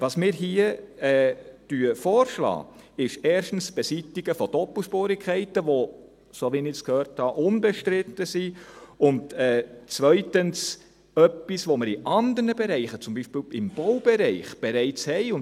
Was wir hier vorschlagen, ist erstens das Beseitigen von Doppelspurigkeiten, die, soweit ich gehört habe, unbestritten sind, und zweitens etwas, das wir in anderen Bereichen bereits haben.